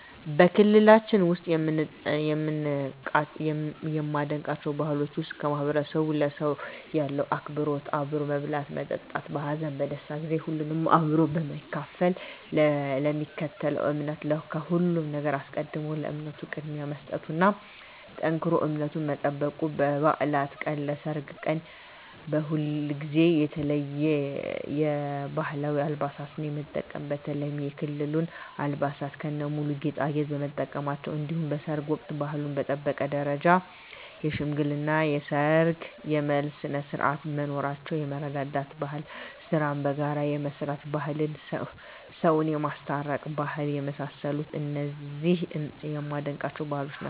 በክልላችን ውስጥ ከማደንቃቸው ባህሎች ውስጥ ማህበረሰቡ ለሰው ያለው አክብሮት አብሮ መብላትና መጠጣት በሀዘን በደስታ ጊዜ ሁሉንም አብሮ በመካፈል ለሚከተለው እምነት ከሁሉም ነገር አስቀድሞ ለእምነቱ ቅድሚያ መስጠቱና ጠንክሮ እምነቱን መጠበቁ በባዕላት ቀን በሰርግ ቀን ከሁልጊዜው የተለየ የባህላዊ አልባሳትን የመጠቀም በተለይም የክልሉን አልባሳት ከነሙሉ ጌጣጌጥ መጠቀማቸው እንዲሁም በሰርግ ወቅት ባህሉን በጠበቀ ደረጃ የሽምግልና የሰርግ የመልስ ስነስርዓቶች መኖራቸው የመረዳዳት ባህል ስራን በጋራ የመስራት ባህል ሰውን የማስታረቅ ባህል የመሳሰሉት እነዚህ የማደንቃቸው ባህሎች ናቸዉ።